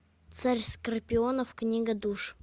царь скорпионов книга душ